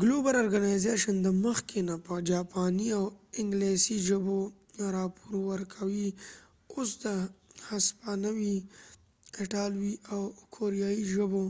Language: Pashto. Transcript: ګلوبل ارګنایزیشن د مخکې نه په جاپانی او انګلیسی ژبو راپور ورکوي اوس د هسپانوي ایټالوي او کوریایې ژبو